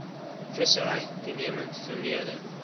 vissery toenemend vermeerder